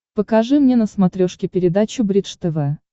покажи мне на смотрешке передачу бридж тв